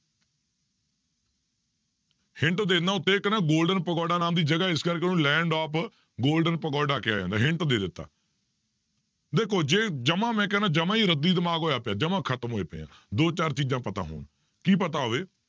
Hint ਦੇ ਦਿਨਾ ਉੱਤੇ ਇੱਕ ਨਾ golden ਪਗੋਡਾ ਨਾਮ ਦੀ ਜਗ੍ਹਾ ਇਸ ਕਰਕੇ ਉਹਨੂੰ land of golden ਪਗੋਡਾ ਕਿਹਾ ਜਾਂਦਾ hint ਦੇ ਦਿੱਤਾ ਦੇਖੋ ਜੇ ਜਮਾ ਮੈਂ ਕਹਿਨਾ ਜਮਾ ਹੀ ਰੱਦੀ ਦਿਮਾਗ ਹੋਇਆ ਪਿਆ ਜਮਾ ਖ਼ਤਮ ਹੋਏ ਪਏ ਹਾਂ ਦੋ ਚਾਰ ਚੀਜ਼ਾਂ ਪਤਾ ਹੋਣ ਕੀ ਪਤਾ ਹੋਵੇ